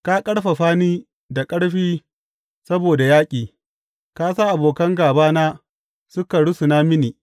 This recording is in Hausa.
Ka ƙarfafa ni da ƙarfi saboda yaƙi; ka sa abokan gābana suka rusuna mini.